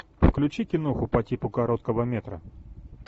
включи киноху по типу короткого метра